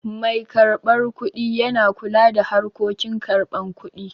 Mai karɓan kuɗi yana kula da harkokin karban kuɗi